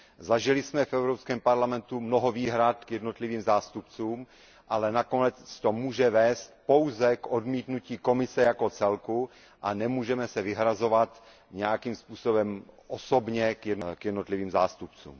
Zažili jsme v Evropském parlamentu mnoho výhrad k jednotlivým zástupcům, ale nakonec to může vést pouze k odmítnutí Komise jako celku a nemůžeme se vyhrazovat nějakým způsobem osobně k jednotlivým zástupcům.